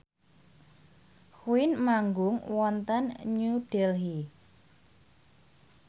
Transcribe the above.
Queen manggung wonten New Delhi